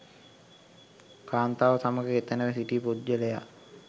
කාන්තාව සමඟ එතැන සිටි පුද්ගලයා